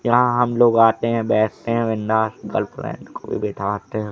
यहां हम लोग आते हैं बैठते हैं गर्लफ्रेंड को भी बिठाते हैं।